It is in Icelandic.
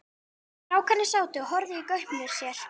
Strákarnir sátu og horfðu í gaupnir sér.